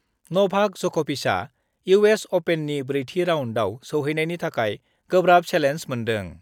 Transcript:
नभाक जकभिचआ इउएस अपेननि ब्रैथि राउन्डआव सौहैनायनि थाखाय गोब्राब सेलेन्ज मोन्दों